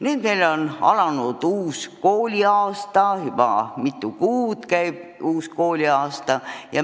Nüüd on alanud uus kooliaasta, see on käinud juba mitu kuud.